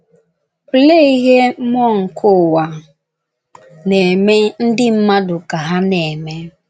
Olee ihe mmụọ nke ụwa na - eme ndị mmadụ ka ha na - eme?